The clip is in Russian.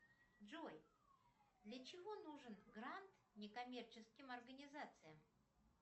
джой для чего нужен грант некоммерческим организациям